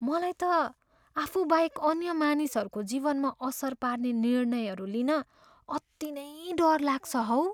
मलाई त आफूबाहेक अन्य मानिसहरूको जीवनमा असर पार्ने निर्णयहरू लिन अति नै डर लाग्छ हौ।